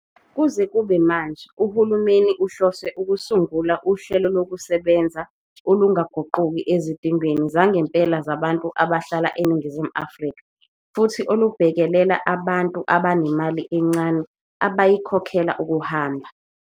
Kuze kube manje, uhulumeni uhlose ukusungula uhlelokusebenza olungaguquki ezidingweni zangempela zabantu abahlala eNingizimu Afrika futhi olubhekelela abantu abanemali encane abayikhokhela ukuhamba.